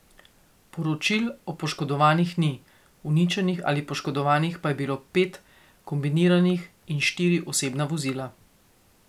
Poročil o poškodovanih ni, uničenih ali poškodovanih pa je bilo pet kombiniranih in štiri osebna vozila.